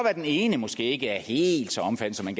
at den ene måske ikke er helt så omfattende